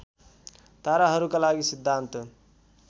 ताराहरूका लागि सिद्धान्त